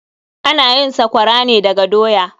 Ana yin sakwara ne daga doya.